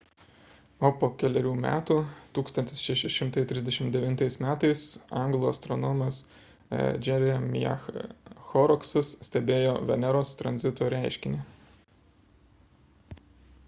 o po kelerių metų 1639 m anglų astronomas jeremiah horrocksas stebėjo veneros tranzito reiškinį